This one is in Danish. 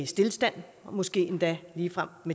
stilstand og måske endda ligefrem